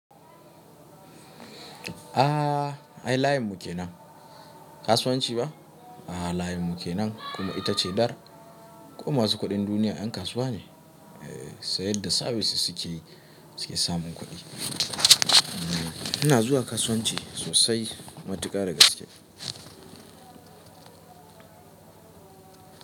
Ah ai layin mu ke nan. Kasuwanci ba? A'a layin mu ke nan kuma ita ce dar. Ko masu kuɗin duniya ƴan kasuwa ne? Eh, sai yadda sabis sukeyi su ke samun kuɗi. Ina zuwa kasuwanci sosai, matuƙa da gaske.